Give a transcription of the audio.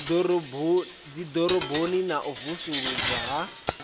dziḓoroboni na u vusuludzwa ha